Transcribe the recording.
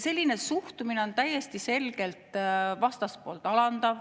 Selline suhtumine on täiesti selgelt vastaspoolt alandav.